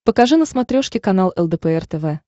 покажи на смотрешке канал лдпр тв